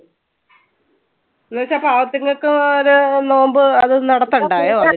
എന്ന് വെച്ച പാവത്തുങ്ങൾക്ക് ആഹ് അത് നോമ്പ് അത് നടത്തണ്ടായോ?